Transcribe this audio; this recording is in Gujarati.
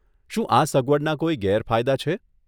શું આ સગવડના કોઈ ગેરફાયદા છે?